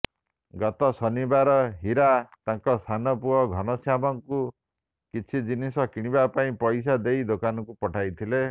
ଗତ ଶନିବାର ହୀରା ତାଙ୍କ ସାନପୁଅ ଘନଶ୍ୟାମଙ୍କୁ କିଛି ଜିନିଷ କିଣିବା ପାଇଁ ପଇସା ଦେଇ ଦୋକାନକୁ ପଠାଇଥିଲେ